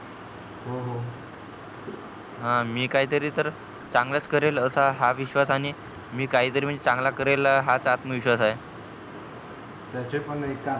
मी काही तरी तर चांगलच करेल असा हा विश्वास आणि मी काही तरी चांगलं करेल हा आत्मविश्वास आहे त्याचे पण एक कारण